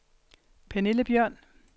Pernille Bjørn